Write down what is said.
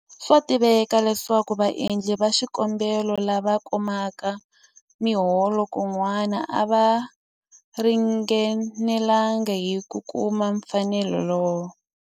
Swa tiveka leswaku vaendli va xikombelo lava kumaka miholo kun'wana a va ringanelanga hi ku kuma mpfuneto lowu.